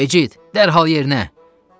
Becid, dərhal yerinə!